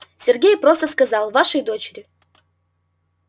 сергей просто сказал вашей дочери